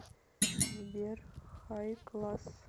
сбер хайкласс